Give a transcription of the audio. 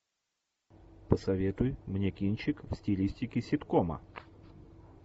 посоветуй мне кинчик в стилистике ситкома